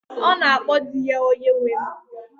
Ọ na-akpọ di ya 'Onyenwe m'